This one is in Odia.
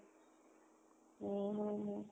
ହୁଁ ହୁଁ ହୁଁ